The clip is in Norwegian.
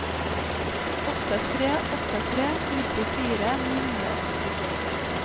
åtte tre åtte tre nittifire ni hundre og førtito